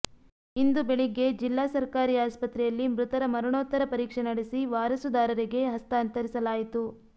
ಇಂದು ಬೆಳಗ್ಗೆ ಜಿಲ್ಲಾ ಸರ್ಕಾರಿ ಆಸ್ಪತ್ರೆಯಲ್ಲಿ ಮೃತರ ಮರಣೋತ್ತರ ಪರೀಕ್ಷೆ ನಡೆಸಿ ವಾರಸುದಾರರಿಗೆ ಹಸ್ತಾಂತರಿಸಲಾಯಿತು